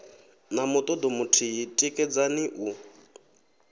na mutodo muthihi tikedzani u